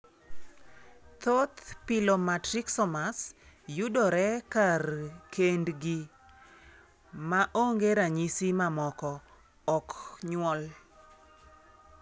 Thoth pilomatrixomas mayudore kar kendgi (ma onge ranyisi mamoko) ok nyuol.